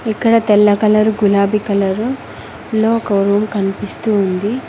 ఇక్కడ తెల్ల కలర్ గులాబీ కలరు లో ఒక రూమ్ కనిపిస్తూ ఉంది.